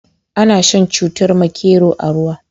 Ana shan cutar makero a ruwa.